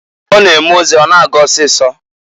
Ọ na-eme ozi a na-aga ọsịịsọ.